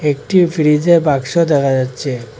একটি ফ্রিজের বাক্স দেখা যাচ্চে।